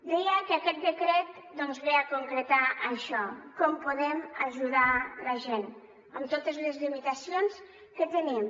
deia que aquest decret doncs ve a concretar això com podem ajudar la gent amb totes les limitacions que tenim